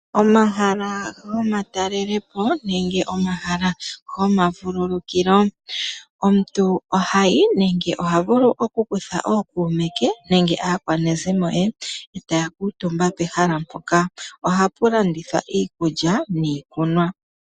Omahala gomatalelopo nenge omahala gomavululukilo, omuntu ohayi nenge ohavulu okukutha ookuume ke nenge aakwanezimo ye, ndele taya kuutumba pehala mpoka. Oha pu landithwa iikulya niikunwa.